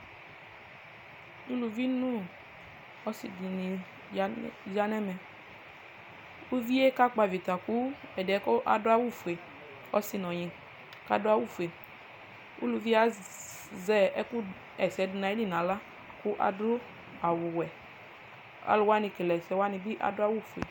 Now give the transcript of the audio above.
uluvi no ɔse di ni ya n'ɛmɛ kò uvie kakpɔ avita kò ɛdiɛ k'ado awu fue ɔse n'ɔnyi k'ado awu fue uluvie azɛ ɛkò ɣa ɛsɛ do n'ayili n'ala k'ado awu wɛ alo wani kele ɛsɛ bi ado awu fue